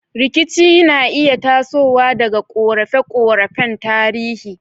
Rikici na iya tasowa daga korafe-korafen tarihi.